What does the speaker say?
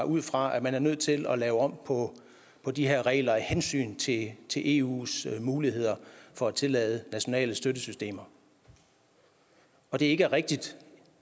ud fra at man er nødt til at lave om på de her regler af hensyn til til eus muligheder for at tillade nationale støttesystemer og det er ikke rigtigt